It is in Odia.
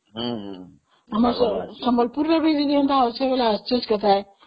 ଆମ ସମ୍ବଲପୁର ବି ଅଛି ମାନେ ଏଇଟା ଆଶ୍ଚର୍ଯ କଥା